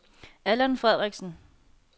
Allan Frederiksen